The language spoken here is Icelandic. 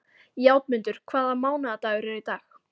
Játmundur, hvaða mánaðardagur er í dag?